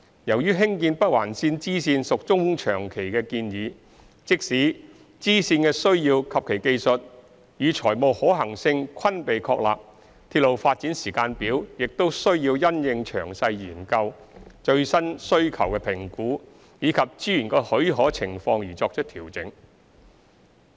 由於興建北環綫支綫屬中長期的建議，即使支線的需要及其技術與財務可行性均被確立，鐵路發展時間表亦須因應詳細研究、最新需求評估及資源的許可情況而作出調整。